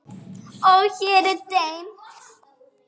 Og hér er dimmt.